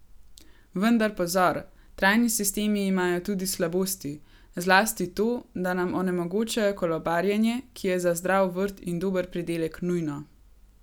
Vendar pozor, trajni sistemi imajo tudi slabosti, zlasti to, da nam onemogočajo kolobarjenje, ki je za zdrav vrt in dober pridelek nujno.